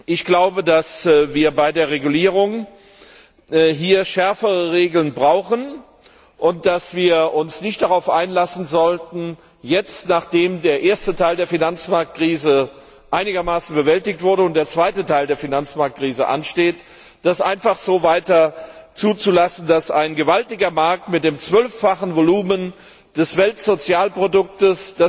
Ich glaube, dass wir bei der Regulierung schärfere Regeln brauchen und dass wir uns nicht darauf einlassen sollten, jetzt, nachdem der erste Teil der Finanzmarktkrise einigermaßen bewältigt wurde und der zweite Teil der Finanzmarktkrise ansteht, es weiter zuzulassen, dass ein gewaltiger Markt mit dem zwölffachen Volumen des Weltsozialproduktes